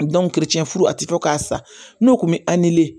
furu a tɛ fɔ k'a sa n'o kun bɛ